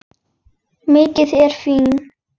Mikið ertu fín!